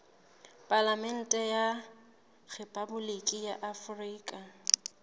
palamente ya rephaboliki ya afrika